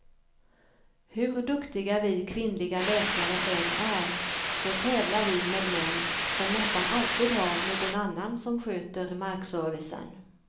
Hur duktiga vi kvinnliga läkare än är, så tävlar vi med män som nästan alltid har någon annan som sköter markservicen.